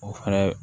O fɛnɛ